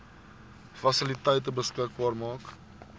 fasiliteite beskikbaar maak